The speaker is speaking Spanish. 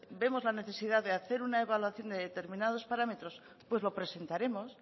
vemos la necesidad de hacer una evaluación de determinados parámetros pues lo presentaremos